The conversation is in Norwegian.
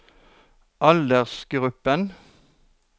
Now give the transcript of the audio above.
aldersgruppen